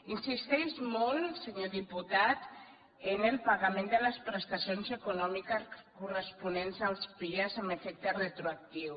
insisteix molt senyor diputat en el pagament de les prestacions econòmiques corresponents als pia amb e fecte retroactiu